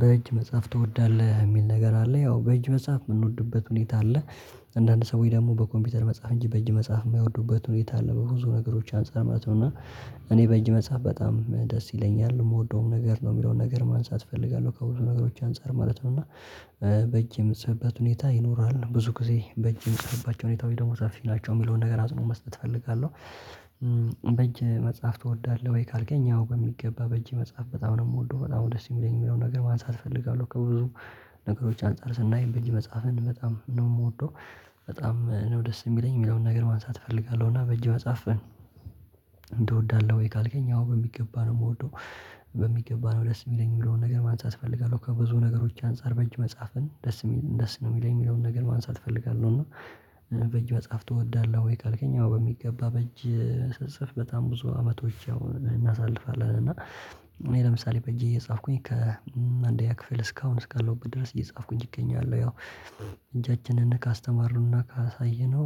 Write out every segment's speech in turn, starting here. በእጅ መጻፍ ትወዳለህ የሚል ነገር አለ ያው በእጅ መጻፍ የምንወድበት ሁኔታ አለ አንዳንድ ሰውች ደግሞ በኮምፒውተር መጻፍ እንጂ በእጅ መጻፍ የማይወዱበት ሁኔታ አለ በብዙ ነገሮች አንፃር ማለት ነው። እና እኔ በእጅ መጻፍ በጣም ደስ ይለኛል የምወደውም ነገር ነው የሚለውን ነገር ማንሳት እፈልጋለሁ ከብዙ ነገሮች አንፃር ማለት ነው። እና በእጅ የምጽፍበት ሁኔታ ይኖራል ብዙ ጊዜ በእጅ የምጽፍባቸው ሁኔታወች ደግሞ ሰፊናቸው የሚለውን ነገር አጽንኦት መስጠት እፈልጋለሁ። በእጅ መጻፍ ትወዳለህ ወይ ካልከኝ ያው በሚገባ በእጅ መጻፍ በጣም ነው የምወደው በጣም ደስ የሚለኝ የሚለው ነገር ማንሳት እፈልጋለሁ ከብዙ አንፃር ስናይ በእጅ መጻፍ በጣም ነው የምወደው። በጣም ነው ደስ የሚለኝ የሚለውን ነገር ማንሳት እፈልጋለሁ እና በእጅ መጻፍ? ወይ ካልከኝ አወን በሚገባ ነው የምወደው በሚገባ ነው ደስ የሚለኝ የሚለውን ነገር ማንጻት እፈልጋለሁ ከብዙ ነገሮች አንፃር በእጅ መጻፍን ደስ ደስ ነው የሚለኝ የሚለውን ነገር ማንሳት እፈልጋለሁ። እና በጅ መጻፍ ትወዳለህ ወይ ካልከኛ አወ በሚገባ በእጅ ስጽፍ በጣም ብዙ አመቶች እናሳልፋለን እና እኔ ለምሳሌ በእጄ እየጻፍኩኝ ከአንደኛ ክፍል እስካሁን እስካለሁ በድረስ እየጻፍኩኝ እገኛለሁ። ያው እጃችንን ካስተማሩና ካሳየነው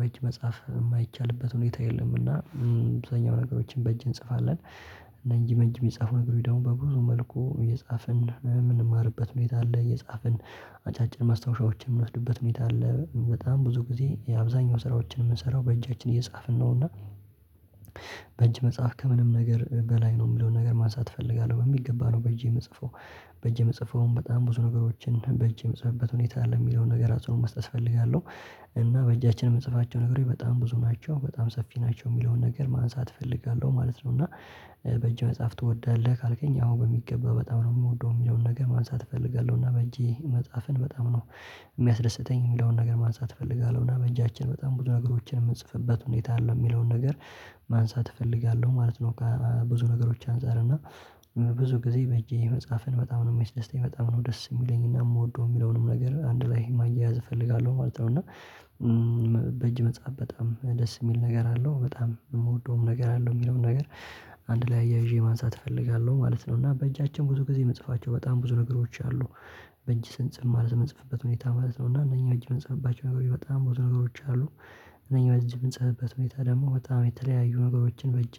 በጅ መጻፍ የማይቻልበት ሁኔታ የለም። እና አብዙኛው ነገሮችን በእጅ እንጽፋለን እና እነዚህ በእንጅ የሚጻፉ ነገሮች ደግሞ በብዙ መልኩ የጻፍን ምን የምንማርበት ሁኔታ አለ እየጻፍን አጫጭር ማስታወሻዎችን የምንወስድበት ሁኔታ አለ በጣም ብዙ ጊዜ የአብዛኛው ስራዎችን የምንሰራው በእጃችን እየጻፍን ነውና። እና በእጅ መጽሐፍ ከምንም ነገር በላይ ነው የሚለውን ነገር ማንሳት እፈልጋለሁ በሚገባ ነው በእጄ የምጽፈው። በእጄ የምጽፈውም በጣም ብዙ ነገሮችን በእጅ የምጽፍበት ሁኔታ አለ የሚለውን ነገር አጽንኦት መስጠት እፈልጋለሁ። እና በእጃችን የምጽፋቸው ነገሮች በጣም ብዙ ናቸው በጣም ሰፊ ናቸው የሚለውን ነገር ማንሳት እፈልጋለሁ ማለት ነው። እና በእጅ መጻፍ ትወዳለህ ካልከኝ አወን በሚገባ በጣም ነው የምወደው የሚለውን ነገር ማንሳት እፈልጋለሁ እና በእጄ መጻፍን በጣም ነው። የሚያስደስተኝ የሚለውን ነገር ማንሳት እፈልጋለሁ እና በእጃችን በጣም ብዙ ነገሮችን የምንጽፍበት ሁኔታ አለው የሚለውን ነገር ማንሳት እፈልጋለሁ ማለት ነው። ብዙ ነገሮች አንፃር እና ብዙ ጊዜ በእጄ መጽሐፍን በጣም ነው የሚያስደስተኝ በጣም ነው ደስ የሚለኝና የምወደው የሚለውንም ነገር አንድ ላይ ማያያዝ እፈልጋለሁ ማለት ነው። እና በእጅ መጻፍ በጣም ደስ የሚል ነገር አለው በጣም የምወደውም ነገር አለው የሚለውም ነገር አንድ ላይ እያይዠ ማንሳት እፈልጋለሁ ማለት ነው። እና በእጃችን ብዙ ጊዜ ምንጽፋቸው በጣም ብዙ ነገሮች አሉ በእጅ ስንጽፍ ማለት የምንጽፍበት ሁኔታ ማለት ነው እና እነኚህ በእጅ የምንጽፍባቸው ነገሮች በጣም ብዙ ነገሮች አሉ እነኚህ እጅ ምንጽፍበት ሁኔታ ደግሞ በጣም የተለያዩ ነገሮችን በእጅ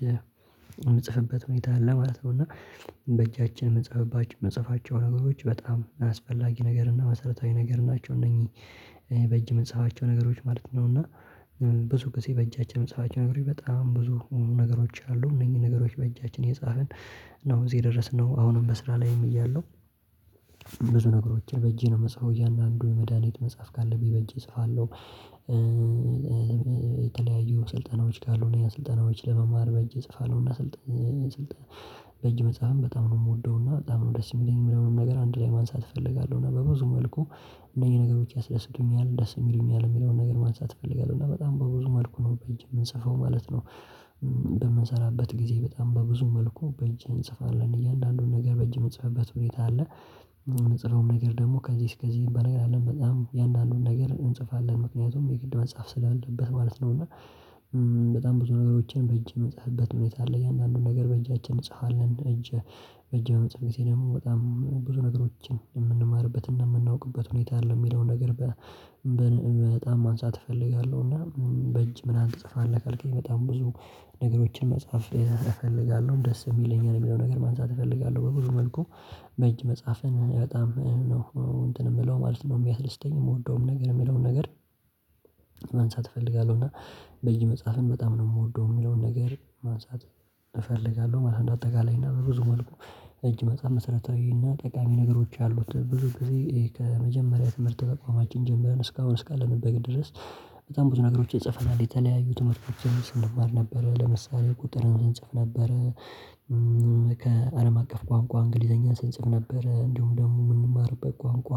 የምንጽፍበት ሁኔታ አለ ማለት ነው። እና በእጃችን የምጽፍባቸው የምጽፋቸው ነገሮች በጣም አስፈላጊ ነገር እና መሰረታዊ ነገር ናቸው እነዚህ በእጅ ምንጽፋቸው ነገሮች ማለት ነው። እና ብዙ ጊዜ በእጃቸው መጽሐፋቸው ነገሮች በጣም ብዙ ነገሮች አሉ እነዚህ ነገሮች በእጃችን የጻፍን ነው እዚህ የደረስነው አሁንም በስራ ላይም እያለሁ ብዙ ነገሮችን በእጄ ነው መጽሐፍ እያንዳንዱ መድሃኒት መጽሐፍ ካለብኝ በእጄ እጽፋለሁ የተለያዩ ስልጠናዎች ካሉ እኔ ስልጠናዎች ለመማር በእጅ እጽፋለሁና። ስልጠና ስልጣን በእጅ መጽሐፍን በጣም ነው የምወደውና በጣም ነው ደስ የሚለኝ ሚለውን ነገር አንድ ላይ ማንሳት እፈልጋለሁ እና በብዙ መልኩ እነኚህ ነገሮች ያስደስቱኛል ደስም ይሉኛል የሚለውን ነገር ማንሳት እፈልጋለሁ እና በጣም በብዙ መልኩ ነው በእንጂ የምንጽፈው ማለት ነው። በምንሰራበት ጊዜ በጣም በብዙ መልኩ በእጂ እንጽፋለን እያንዳንዱን ነገር በእጅ የምጽፍበት ሁኔታ አለ የምጽፈውም ነገር ደግሞ ከዚህ እስከ ዚህ ሚባል ነገር አይደለም በጣም ያንዳንዱን ነገር እንጽፋለን ምክንያቱም የግድ መጻፍ ስላለበት ማለት ነው። እና በጣም ብዙ ነገሮችን በእጅ የምጽፍበት ሁኔታ አለ እያንዳንዱን ነገር በእጃችን እጽፋለን እጅ በእጅ በምንጽፍበት ጊዜ ደግሞ በጣም ብዙ ነገሮችን የምንማርበት እና የምናውቅበት ሁኔታ አለ የሚለውን ነገር በጣም ማንሳት እፈልጋለሁ። እና በእጅ ምናምን ትጽፋለህ ካልከኝ በጣም ብዙ ነገሮችን መጻፍ እፈልጋለሁ ደስም ይለኛል የሚለው ነገር ማንሳት እፈልጋለሁ በብዙ መልኩ በእጅ መጻፍን በጣም ነው እንትን የምለው ማለት ነው። የሚያስደስተኝ የምወደውም ነገር የሚለውን ነገር ማንሳት እፈልጋለሁ እና በእጅ መጻፍም በጣም ነው የምወደው የሚለውን ነገር ማንሳት እፈልጋለሁ ማለት ነው። አጠቃላይና በብዙ መልኩ በእጅ በእጅ መጻፍ መሰረታዊና ጠቃሚ ነገሮች አሉት ብዙ ጊዜ ከመጀመሪያ ትምህርት ተቋማችን ጀምረን እስካሁን እስካለንበት ድረስ በጣም ብዙ ነገሮች ይጽፈናል የተለያዩት ትምህርቶችን ስንማር ነበር ለምሳሌ ቁጥር እንጽፍ ነበር ከአለም አቀፍ ቋንቋ እንግሊዘኛ ስንጽፍ ነበር እንደውም ደግሞ የምንማርበት ቋንቋ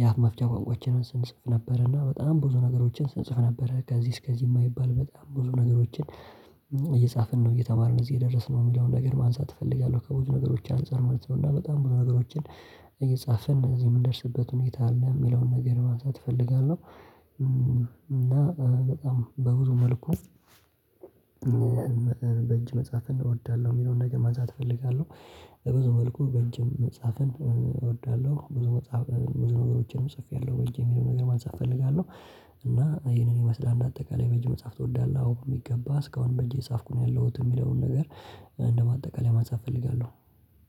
የአፍ መፍቻ ቋንቋዎችን ስንጽፍ ነበር እና በጣም ብዙ ነገሮችን ስንጽፍ ነበር ከዚህ እስከዚህ የማይባል በጣም ብዙ ነገሮችን እየጻፍን ነው እየተማርን እዚህ የደረስነው የሚለውን ነገር ማንሳት እፈልጋለሁ ከብዙ ነገሮች አንፃር ማለት ነው። እና በጣም ብዙ ነገሮችን እየጻፈን እዚህ የምንደርስበት ሁኔታ አለ የሚለውን ነገር ማሳት እፈልጋለሁ እና በጣም በብዙ መልኩ በእጅ መጻፍን እወዳለሁ። የሚለውን ነገር ማንሳት እፈልጋለሁ ብዙ መልኩ በእጅም መጻፍን እወዳለሁ ብዙ መጽሐፍ ብዙ ነገሮችንም ጽፌያለሁ በጅ የሚለውን ነገር ማንሳት እፈልጋለሁ። እና ይሄንን ይመስላል እንደ አጠቃላይ በጅ መጽሐፍ ትወዳለህ አዎ የሚገባ እስካሁንም በጅ የጻፍኩኝ ያለሁት የሚለውን ነገር? እንደማጠቃለያ ማንሳት እፈልጋለሁ